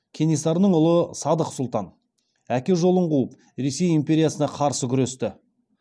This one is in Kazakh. кенесарының ұлы сыдық сұлтан әке жолын қуып ресей империясына қарсы күресті